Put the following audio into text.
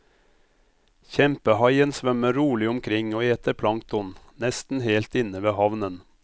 Kjempehaien svømmer rolig omkring og eter plankton, nesten helt inne ved havnen.